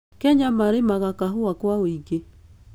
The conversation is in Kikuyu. Kenya marĩmaga kahũa kwa wĩingĩ.